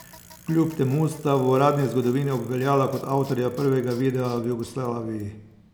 Kljub temu sta v uradni zgodovini obveljala kot avtorja prvega videa v Jugoslaviji.